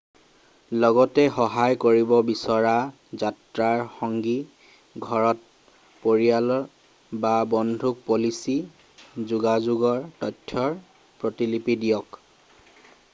লগতে সহায় কৰিব বিচৰা যাত্ৰাৰ সংগী ঘৰত পৰিয়াল বা বন্ধুক পলিচী/যোগাযোগৰ তথ্যৰ প্ৰতিলিপি দিয়ক।